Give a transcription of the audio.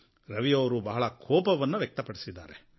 ರವಿಯವರು ಬಹಳ ಕೋಪವನ್ನು ವ್ಯಕ್ತಪಡಿಸಿದ್ದಾರೆ